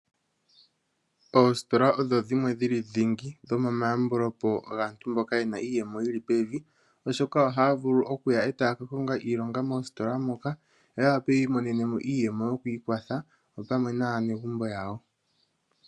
Oositola odho dhimwe dhili ndingi mo maambule po gaantu mboka yena iiyemo yili pevi oshoka ohaya vulu etaa ka konga iilonga moositola moka opo ya wape wiimonene iiyemo yokwiikwatha opamwe naanegumbo yawo